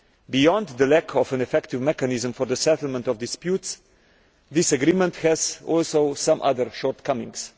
Beyond the lack of an effective mechanism for the settlement of disputes, this agreement also has other shortcomings.